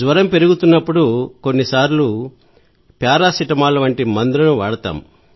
జ్వరం పెరుగుతున్నప్పుడు కొన్నిసార్లు పారాసెటమాల్ వంటి మందులను వాడతాం